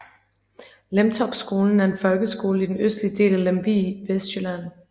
Lemtorpskolen er en folkeskole i den østlige del af Lemvig i Vestjylland